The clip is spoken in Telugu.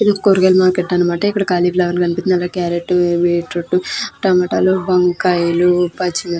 ఇది కూరగాయల మార్కెట్ అనమాట. ఇక్కడ కాలిఫ్లవర్ కనిపిస్తుంది. అలాగే కార్రోట్ బీట్రూట్ టమాటలు వంకాయలు పచ్చిమి --